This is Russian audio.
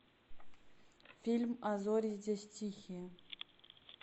фильм а зори здесь тихие